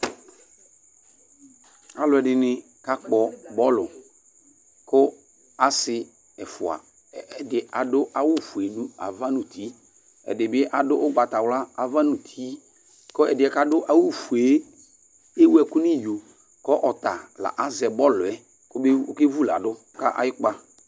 Alʋɛdìní kakpɔ bɔlʋ kʋ asi ɛfʋa Ɛdí adu awu fʋe ava nʋ ʋti Ɛdí bi adu ugbatawla ava nʋ ʋti kʋ ɛdí yɛ kʋ adu awu fʋe ewu ɛku nʋ iyo kʋ ɔta la azɛ bɔlʋ yɛ kʋ ɔke vʋladu kʋ ayʋ' kpa